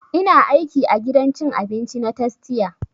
Ina aiki a gidan cin abinci na tastia